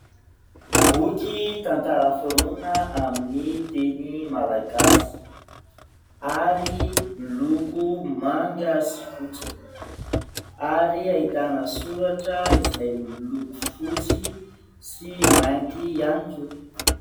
Boky tantara foronina amin'ny teny Malagasy ary miloko manga sy fotsy ary ahitana soratra izay miloko fotsy sy mainty ihany koa.